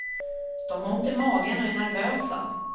De har ont i magen och är nervösa.